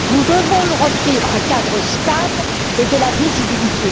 Nous devons leur offrir un cadre stable et de la visibilité.